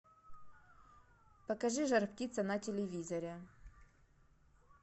покажи жар птица на телевизоре